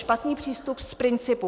Špatný přístup z principu.